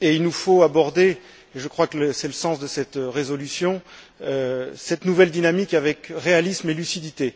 et il nous faut aborder c'est le sens de cette résolution cette nouvelle dynamique avec réalisme et lucidité.